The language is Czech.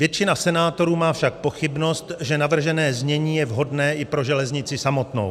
Většina senátorů má však pochybnost, že navržené znění je vhodné i pro železnici samotnou.